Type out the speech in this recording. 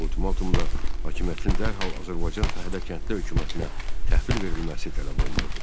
Ultimatumda hakimiyyətin dərhal Azərbaycan Fəhlə Kəndli Hökumətinə təhvil verilməsi tələb olunurdu.